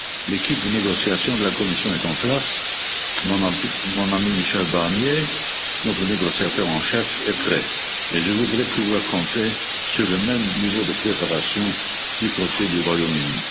L'équipe de négociation de la Commission est en place, mon ami Michel Barnier, notre négociateur en chef, est prêt et je voudrais pouvoir compter sur le même niveau de préparation du côté du Royaume Uni.